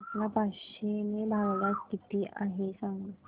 पाच ला पाचशे ने भागल्यास किती आहे सांगना